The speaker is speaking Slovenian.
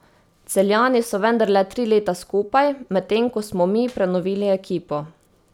Celjani so vendarle tri leta skupaj, medtem ko smo mi prenovili ekipo.